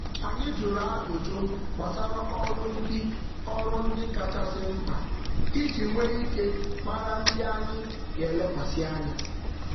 Anyị um rịọrọ maka nkọwa banyere ihe kacha mkpa iji jikwaa ndepụta ọrụ jikwaa ndepụta ọrụ na-eto eto.